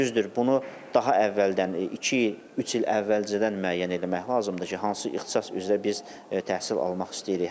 Düzdür, bunu daha əvvəldən iki il, üç il əvvəlcədən müəyyən eləmək lazımdır ki, hansı ixtisas üzrə biz təhsil almaq istəyirik.